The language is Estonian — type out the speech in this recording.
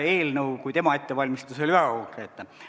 Eelnõu, mille tema ette valmistas, oli väga konkreetne.